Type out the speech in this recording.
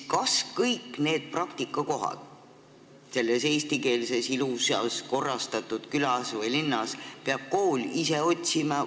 Kas kõik need praktikakohad selles eestikeelses, ilusasti korrastatud külas või linnas peab kool ise otsima?